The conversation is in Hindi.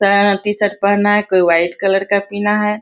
सारा टी-शर्ट पहना के व्हाइट कलर का पिन्हा है।